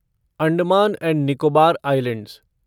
Andaman and Nicobar islands